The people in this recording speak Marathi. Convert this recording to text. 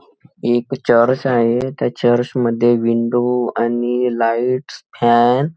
एक चर्च आहे त्या चर्चमध्ये विंडो आणि लाइट्स फॅन --